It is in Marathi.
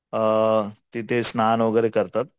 अ तिथे स्नान वगैरे करतात.